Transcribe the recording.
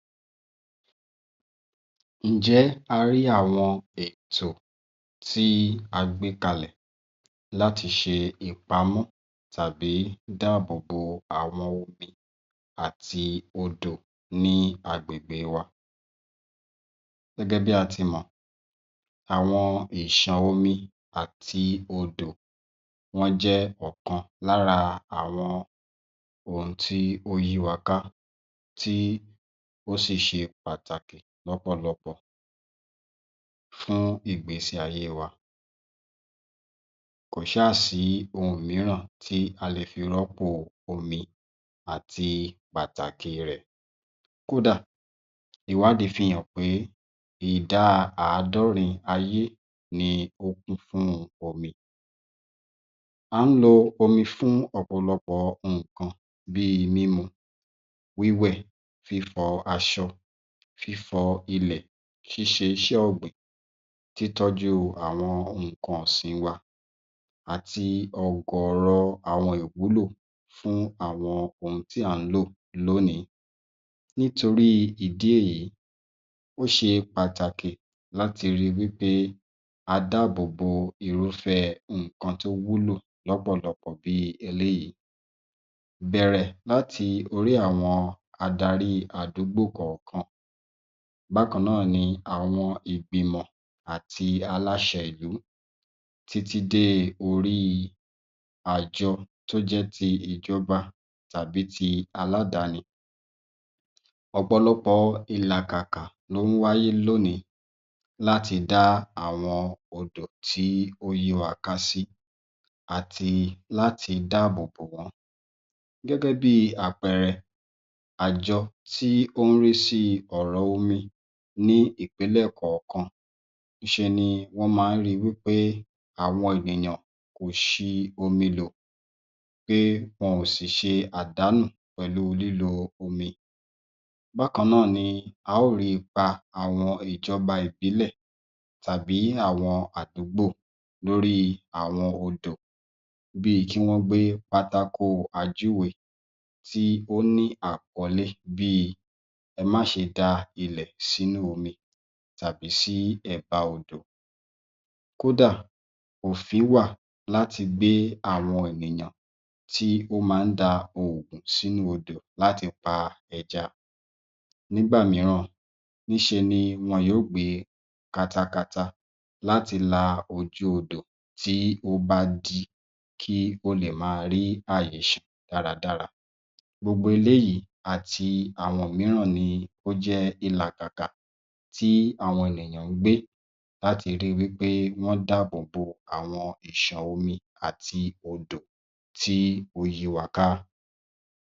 Ǹjẹ́ a rí àwọn ètò tí a gbé kalẹ̀ láti ṣe ìpamọ́ tàbi dáàbò bo àwọn omi àti odò ní agbègbe wa? Gẹ́gẹ́ bí a ti mọ̀, àwọn ìṣàn omi àti odò wọ́n jẹ́ ọ̀kan lára àwọn ohun tí ó yí wa ká, tí ó sì ṣe pàtàkì lọ́pọ̀lọpọ̀ fún ìgbésí ayé wa. Kò ṣáà sí ohun mìíràn tí a lè fi rọ́pò omi àti pàtàkì rẹ̀. Kódà, ìwádìí fi hàn pé ìdá àádọ́rin ayé ni ó kún fún omi. À ń lo omi fún ọ̀pọ̀lọpọ̀ nǹkan bí i mímu, wíwẹ̀, fífọ aṣọ, fífọ ilẹ̀, ṣíṣe iṣẹ́ ọ̀gbìn, títọ́jú àwọn nǹkan ọ̀sìn wa àti ọ̀gọ̀ọ̀rọ̀ àwọn ìwúlò fún àwọn ohun tí à ń lò lónìí. Nítorí ìdí èyí, ó ṣe pàtàkì láti ri wí pé a dáàbò bo irúfẹ́ nǹkan tó wúlò lọ́pọ̀lọpọ̀ bí i eléyìí. Bẹ̀rẹ̀ láti orí àwọn adarí àdúgbò kọ̀ọ̀kan, bákan náà ni àwọn ìgbìmọ̀ àti aláṣẹ ìlú títí dé orí àjọ tó jẹ́ ti ìjọba tàbí ti aládàáni. Ọ̀pọ̀lọpọ̀ ìlàkàkà ló ń wáyé lónìí láti dá àwọn odò tí ó yí wa ká sí àti láti dáàbò bò wọ́n. Gẹ́gẹ́ bí i àpẹẹrẹ, àjọ tí ó ń rí sí ọ̀rọ̀ omi ní ìpínlẹ̀ kọ̀ọ̀kan, í ṣe ni wọ́n máa ń ri wí pé àwọn ènìyàn kò ṣi omi lò, pé wọn ò sì ṣe àdánù pẹ̀lu lílo omi. Bákan náà ni a óò rí ipa àwọn ìjọba ìbílẹ̀ tàbí àwọn àdúgbò lóríi àwọn odò, bí i kí wọ́n gbé pátákó-ajúwe tí ó ní àkọ́lé bí i “ẹ má ṣe da ilẹ̀ sínú omi tàbí sí ẹ̀bá-odò.” Kódà, òfin wà láti gbé àwọn ènìyàn tí ó máa ń da oògùn sínú odò láti pa ẹja. Nígbà mìíràn, níṣe ni wọn yóò gbé kátákátá láti la ojú ibẹ̀ tí ó bá dí, kí ó lè máa rí àyè ṣàn dáradára. Gbogbo eléyìí àti àwọn òmíràn ni ó jẹ́ ìlàkàkà tí àwọn ènìyàn ń gbé láti rí i wí pé wọ́n dáàbò bo àwọn ìṣàn omi àti odò tí ó yí wa ká.